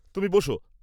তুমি বসো।